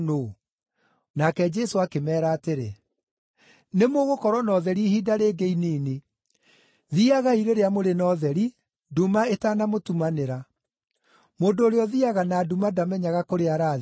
Nake Jesũ akĩmeera atĩrĩ, “Nĩmũgũkorwo na ũtheri ihinda rĩngĩ inini. Thiiagai rĩrĩa mũrĩ na ũtheri, nduma ĩtanamũtumanĩra. Mũndũ ũrĩa ũthiiaga na nduma ndamenyaga kũrĩa arathiĩ.